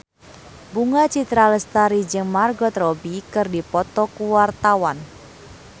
Bunga Citra Lestari jeung Margot Robbie keur dipoto ku wartawan